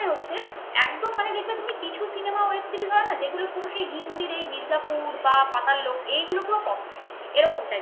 একদম মানে যেগুলো তুমি কিছু সিনেমা web series হয় না যেগুলো পুরো সেই হিন্দির এই মির্জাপুর বা পাতাল লোক এইগুলো পুরো copy এইরকম. type